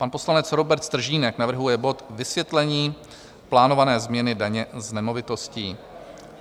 Pan poslanec Robert Stržínek navrhuje bod Vysvětlení plánované změny daně z nemovitostí.